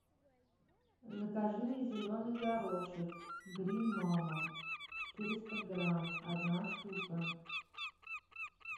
закажи мне зеленый горошек грин мама четыреста грамм одна штука